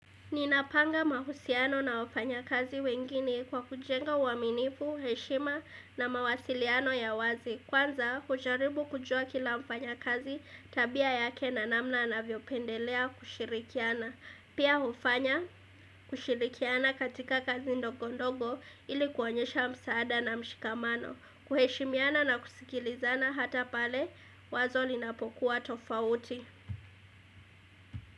Ninapanga mahusiano na wafanya kazi wengine kwa kujenga uaminifu, heshima na mawasiliano ya wazi. Kwanza, hujaribu kujua kila mfanya kazi tabia yake na namna na anavyopendelea kushirikiana. Pia hufanya kushirikiana katika kazi ndogondogo ili kuwaonyesha msaada na mshikamano. Kuheshimiana na kusikilizana hata pale wazo linapokuwa tofauti.